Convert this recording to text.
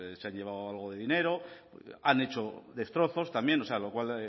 se han llevado algo de dinero han hecho destrozos también lo cual